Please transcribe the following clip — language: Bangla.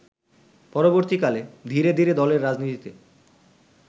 পরবর্তীকালে ধীরে ধীরে দলের রাজনীতিতে